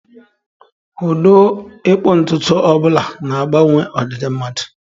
Ụdị ịkpụ ntutu ọ bụla na-agbanwe ọdịdị mmadu.